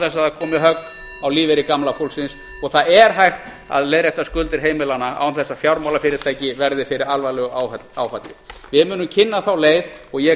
það komi högg á lífeyri gamla fólksins og það er hægt að leiðrétta skuldir heimilanna án þess að fjármálafyrirtæki verði fyrir alvarlegu áfalli við munum kynna þá leið og ég